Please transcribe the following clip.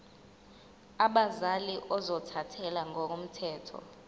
abazali ozothathele ngokomthetho